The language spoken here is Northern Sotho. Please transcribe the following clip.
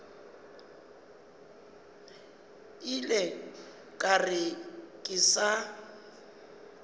ile ka re ke sa